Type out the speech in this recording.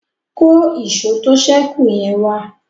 kọ Èṣó tó sẹku yen wá.